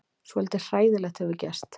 Svolítið hræðilegt hefur gerst.